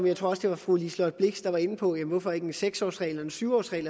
jeg tror det var fru liselott blixt der var inde på det hvorfor så ikke en seks årsregel eller en syv årsregel